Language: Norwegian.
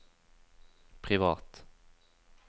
privat